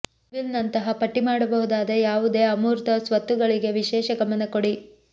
goodwill ನಂತಹ ಪಟ್ಟಿ ಮಾಡಬಹುದಾದ ಯಾವುದೇ ಅಮೂರ್ತ ಸ್ವತ್ತುಗಳಿಗೆ ವಿಶೇಷ ಗಮನ ಕೊಡಿ